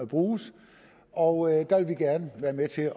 bruges og der ville vi gerne være med til at